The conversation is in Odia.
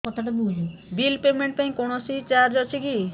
ବିଲ୍ ପେମେଣ୍ଟ ପାଇଁ କୌଣସି ଚାର୍ଜ ଅଛି କି